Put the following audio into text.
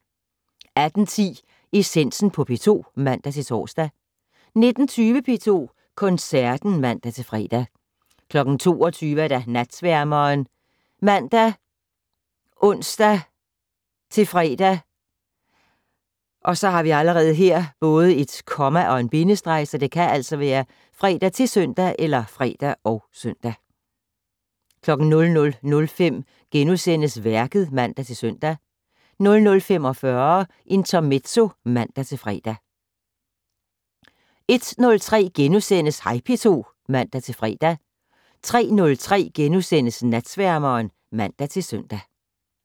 18:10: Essensen på P2 (man-tor) 19:20: P2 Koncerten (man-fre) 22:00: Natsværmeren ( man, ons-fre, -søn) 00:05: Værket *(man-søn) 00:45: Intermezzo (man-fre) 01:03: Hej P2 *(man-fre) 03:03: Natsværmeren *(man-søn)